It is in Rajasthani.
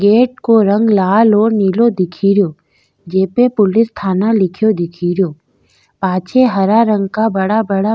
गेट को रंग लाल और नीलो दिखेरयो जे पे पुलिस थाना लिख्यो दिखेरयो पाछे हरा रंग का बड़ा बड़ा --